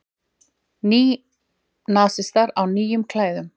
Nýnasistar á nýjum klæðum